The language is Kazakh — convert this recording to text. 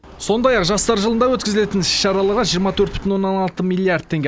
сондай ақ жастар жылында өткізілетін іс шараларға жиырма төрт бүтін оннан алты миллиард теңге